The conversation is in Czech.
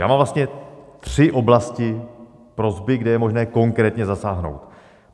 Já mám vlastně tři oblasti prosby, kde je možné konkrétně zasáhnout.